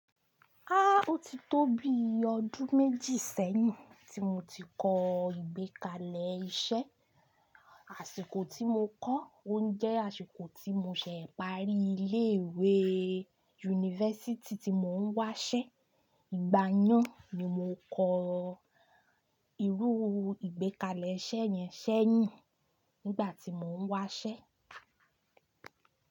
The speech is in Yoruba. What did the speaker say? Ah! Ótì tó bí ọdún méjì sẹ́yìn tí mo ti kọ́ ìgbékalẹ̀ iṣẹ́, àsìkò tí mo kọ́ jẹ́ àsìkò tí mo ṣe parí ilé ìwé university tí mo dé n wa'ṣẹ́. Ìgbà yẹn ni mo kọ irú ìgbékalẹ̀ iṣẹ́ yẹn sẹ́yìn nígbà tí mò ń wáṣẹ́.